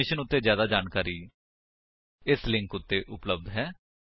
ਇਸ ਮਿਸ਼ਨ ਉੱਤੇ ਜਿਆਦਾ ਜਾਣਕਾਰੀ ਇਸ ਲਿੰਕ ਉੱਤੇ ਉਪਲੱਬਧ ਹੈ